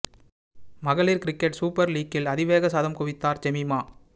மகளிர் cricket super லீக்கில் அதிவேக சதம் குவித்தார் ஜெமீமா